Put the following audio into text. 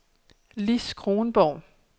Lis Kronborg